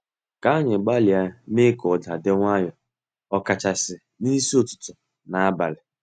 Ka anyị gbalịa mee ka ụda di nwayo, ọkachasị n'isi ụtụtụ na abalị.